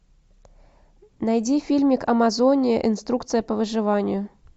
найди фильмик амазония инструкция по выживанию